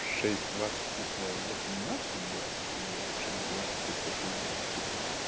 шесть двадцать это восемнадцать двадцать или в шесть двадцать это шесть двадцать утра